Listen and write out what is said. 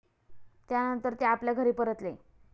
त्यानंतर ते आपल्या घरी परतले.